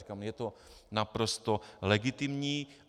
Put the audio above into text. Říkám, je to naprosto legitimní.